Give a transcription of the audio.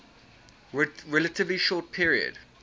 relatively short period